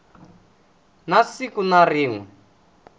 na siku na rin we